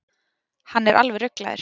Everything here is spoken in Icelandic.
Hann er alveg ruglaður.